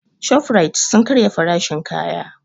Shofrait sun karya farashin kaya